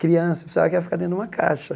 Criança pensava que ia ficar dentro de uma caixa.